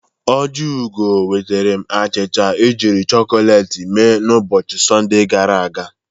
Ojiugo nwetaram achịcha e jiri chọkọleti mee n'ụbọchị Sọnde gara aga.